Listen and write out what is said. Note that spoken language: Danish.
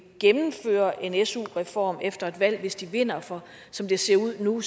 gennemføre en su reform efter et valg hvis de vinder for som det ser ud nu